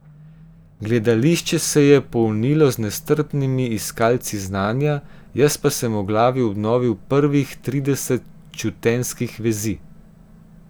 Gledališče se je polnilo z nestrpnimi iskalci znanja, jaz pa sem v glavi obnovil prvih trideset čutenjskih vezi.